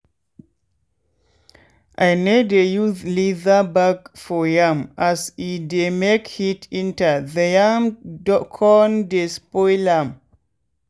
i no dey use leather bag for yam as e dey make heat enter the yam con dey spoil am.